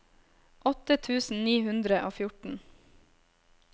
åtte tusen ni hundre og fjorten